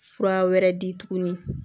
Fura wɛrɛ di tuguni